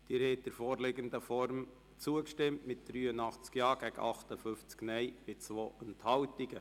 Sie haben dem Antrag in der vorliegenden Form zugestimmt mit 83 Ja- gegen 58 NeinStimmen bei 2 Enthaltungen.